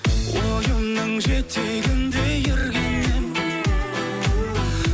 ойымның жетегінде ерген ем